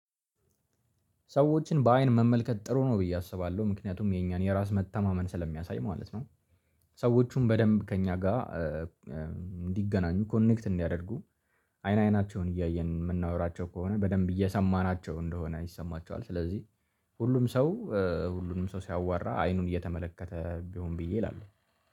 ሰዎችን በአይን መመልከት ጥሩ ነው ብዬ አስባለሁ ምክንያቱም የእኛን የራስ መተማመን ስለሚያሳይ ማለት ነው። ሰዎቹን በደንብ ከእኛ ጋር እንዲገናኙ ኮኔክት እንዲያደርጉ። አይን አይናቸውን እያየን የምናወራቸው ከሆነ በደንብ እየሰማናቸው እንደሆነ ይሰማቸዋል። ስለዚህ ሁሉም ሰው ሁሉንም ሰው ሲያዋራ አይኑን እየተመለከተ ቢሆን ብዬ እላለሁ።